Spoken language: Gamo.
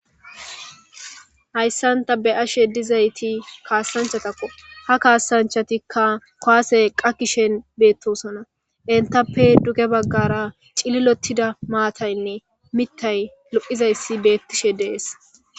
hayssanta be ashe dizayti kaasanchatakko ha kaasanchatikka koase qakishen beettosona entappe duge baggara cililotida maataynne mittay lo7izayssi beettishe dees